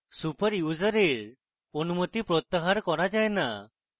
super ইউসারের অনুমতি প্রত্যাহার করা যায় the